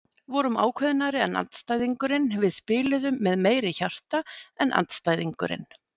Vorum ákveðnari en andstæðingurinn, við spiluðum með meiri hjarta en andstæðingurinn.